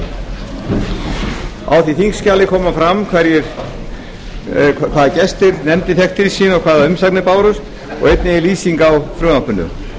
því þingskjali kemur fram hvaða gesti nefndin fékk til sín og hvaða umsagnir bárust og einnig er lýsing á frumvarpinu